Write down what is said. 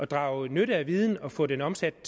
drage nytte af en viden og få den omsat